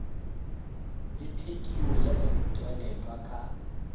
le thekio ya setweletwa ka